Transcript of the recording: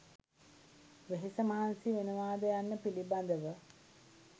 වෙහෙස මහන්සි වෙනවාද යන්න පිළිබඳව